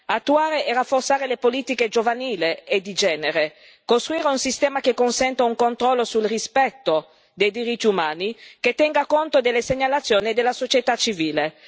Attuare e rafforzare le politiche giovanili e di genere, costruire un sistema che consenta un controllo sul rispetto dei diritti umani, che tenga conto delle segnalazioni della società civile.